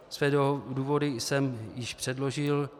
Své důvody jsem již předložil.